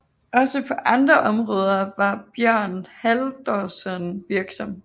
Også på andre områder var Björn Halldórsson virksom